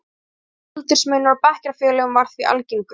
Tveggja ára aldursmunur á bekkjarfélögum var því algengur.